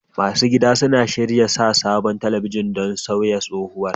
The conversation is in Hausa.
Masu gida suna shirin sa sabon talabijin don sauya tsohowar.